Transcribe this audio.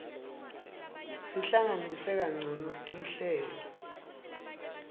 sihlanganise kancono tinhlelo